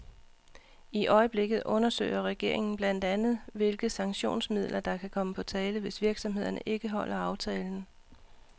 I øjeblikket undersøger regeringen blandt andet hvilke sanktionsmidler, der kan komme på tale, hvis virksomhederne ikke holder aftalen.